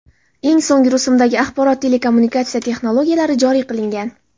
Eng so‘nggi rusumdagi axborot-kommunikatsiya texnologiyalari joriy qilingan.